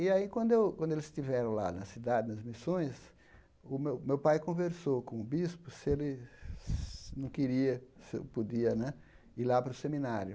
E aí, quando eu quando eles estiveram lá na cidade, nas missões, o meu o meu pai conversou com o bispo se ele não queria, se eu podia né ir lá para o seminário.